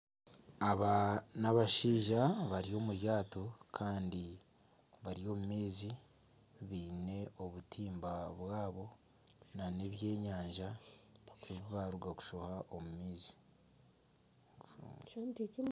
Aba n'abashaija bari omu ryato kandi bari omu maizi baine obutimba bwabo nana ebyenyanja ebi baaruga kushoha omu maizi.